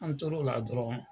An tor'o la dɔrɔn,